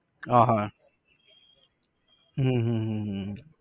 હા હા હમ હમ હમ હમ હમ